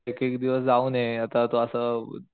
एक एक दिवस जाऊन ये आता तू असं